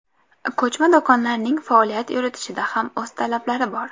Ko‘chma do‘konlarning faoliyat yuritishida ham o‘z talablari bor.